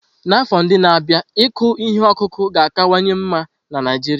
N'afọ ndị na-abịa, ịkụ ihe ọkụkụ ga-akawanye mma na Naijiria.